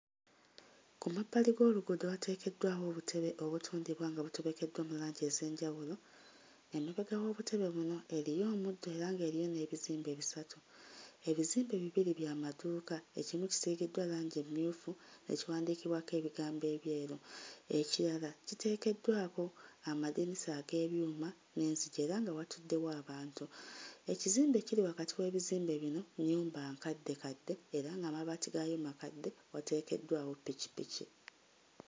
Ku mabbali g'oluguudo wateekeddwawo obutebe obutundibwa nga butobekeddwa mu langi ez'enjawulo. Emabega w'obutebe buno eriyo omuddo era ng'eriyo n'ebizimbe bisatu. Ebizimbe bibiri bya maduuka ekimu kisiigiddwa langi emmyufu ne kiwandiikibwako ebigambo ebyeru ekirala kiteekeddwako amadinisa ag'ebyuma n'enzigi era nga watuddewo abantu. Ekizimbe ekiri wakati w'ebizimbe bino nnyumba nkaddekadde era ng'amabaati gaayo makadde wateekeddwawo ppikippiki.